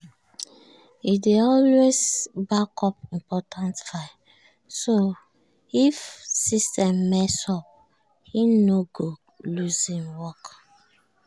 e dey always backup important files so if system mess up e no go lose im work.